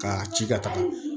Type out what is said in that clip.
K'a ci ka taga